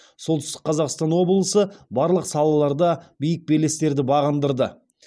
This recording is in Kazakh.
солтүстік қазақстан облысы барлық салаларда биік белестерді бағындырды